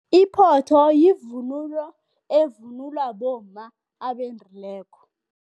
Iphotho yivunulo evunulwa bomma abendileko.